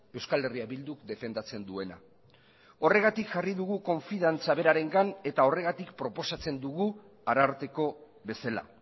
euskal herria bilduk defendatzen duena horregatik jarri dugu konfidantza berarengan eta horregatik proposatzen dugu ararteko bezala